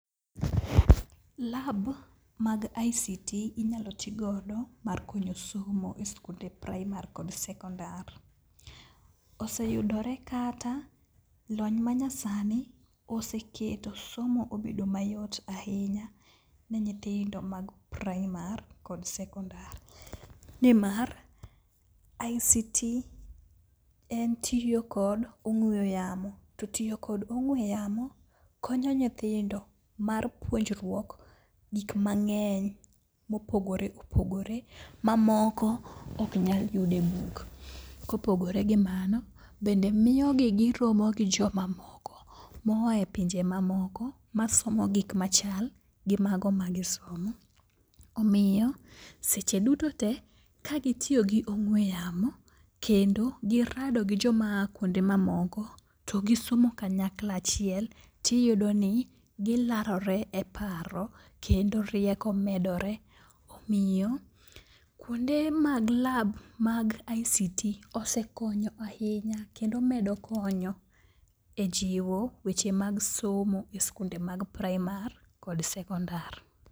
LAB mag ICT inyalo ti godo mar konyo somo e skunde praimar kod sekondar. Oseyudore kata lony ma nyasani oseketo somo obedo mayot ahinya ne nyithindo mag praimar kod sekondar. Ni mar ICT en tiyo kod ong'weyo yamo, to tiyo kod ong'we yamo konyo nyithindo mar puonjruok gik mang'eny mopogore opogore, ma moko ok nyal yud e buk. Kopogore gi mano, bende miyogi giromo gi joma moko. Moa e pinje mamoko ma somo gik machal gi mago ma gisomo. Omiyo seche duto te ka gitiyo gi ong'we yamo, kendo girado gi joma a kuonde ma moko to gisomo kanyakla achiel. Tiyudo ni gilarore e paro kendo rieko medore, omiyo kuonde mag LAB mag ICT osekonyo ahinya kendo medo konyo e jiwo weche mag somo e skunde mag praimar kod sekondar.